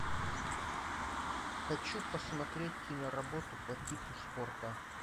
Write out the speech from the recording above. хочу посмотреть киноработу по типу спорта